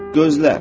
Gözlə.